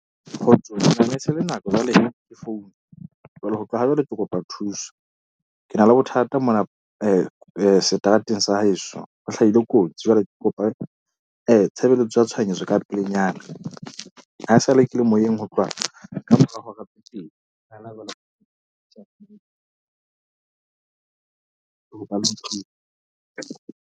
Kgotsong manese le nako, jwale ke founu jwale ho tloha ha jwale, ke kopa thuso, ke na le bothata mona seterateng sa heso. Ho hlahile kotsi jwale ke kopa tshebeletso ya tshohanyetso ka pelenyana. Ha esale ke le moyeng, ho tloha ka mora hora .